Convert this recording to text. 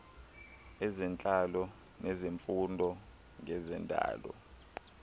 ezentlalo nezifundo ngezendalo